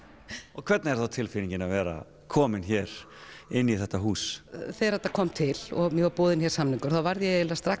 og hvernig er þá tilfinningin að vera komin hér inn í þetta hús þegar þetta kom til og mér var boðinn hér samningur þá varð ég eiginlega strax